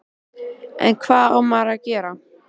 En hvað á maður að gera?